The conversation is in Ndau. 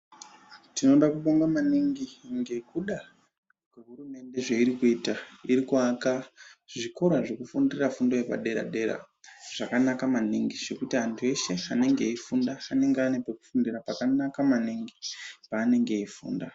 Tinoda kubonga maningi ngekuda kwehurumende zveiri kuita iri kuaka zvikora zvekufundira fundo yepadera dera zvakanaka maningi zvekuti anthu eshe anenge eifunda anenge anepekufundira pakanaka maningi paanenge eifunda.